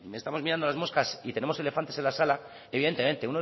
estamos mirando las moscas y tenemos elefantes en la sala evidentemente